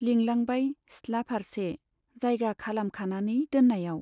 लिंलांबाय सिथ्ला फार्से जायगा खालामखानानै दोन्नायाव।